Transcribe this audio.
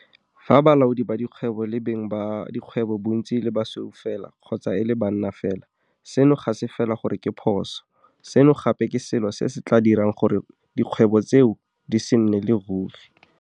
Fa balaodi ba dikgwebo le beng ba dikgwebo bontsi e le basweu fela kgotsa e le banna fela, seno ga se fela gore ke phoso, seno gape ke selo se se tla dirang gore kgwebo tseo di se nnele ruri.